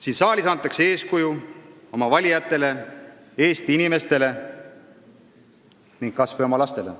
Siin saalis antakse eeskuju oma valijatele, Eesti inimestele ning kas või oma lastele.